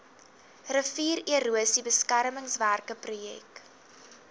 riviererosie beskermingswerke projek